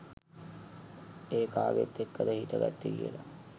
ඒ කාගෙත් එක්කද හිට ගත්තෙ කියලා?